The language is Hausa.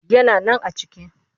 Yana nan a ciki